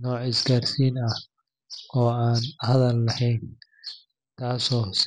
nooc isgaarsiin ah oo aan hadal lahayn, taasoo si.